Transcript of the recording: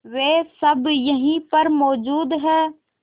वे सब यहीं पर मौजूद है